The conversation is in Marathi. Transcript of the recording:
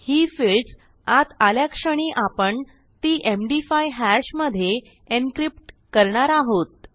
ही फील्ड्स आत आल्याक्षणी आपण ती एमडी 5 हॅश मधे एन्क्रिप्ट करणार आहोत